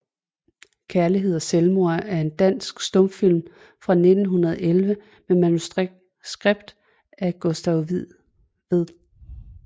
Kærlighed og Selvmord er en dansk stumfilm fra 1911 med manuskript af Gustav Wied